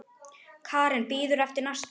Karen: Bíður eftir næsta?